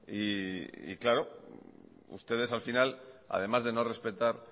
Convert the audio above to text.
y claro ustedes al final además de no respetar